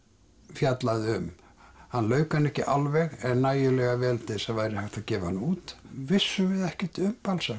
fjallaði um hann lauk henni ekki alveg en nægilega vel til þess að það væri hægt að gefa hana út vissum við ekkert um